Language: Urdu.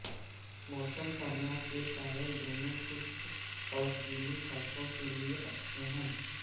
موسم سرما کے ٹائر دونوں خشک اور گیلی سڑکوں لئے اچھے ہیں